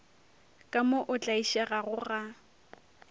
ka mo o tlaišegago ga